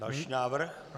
Další návrh?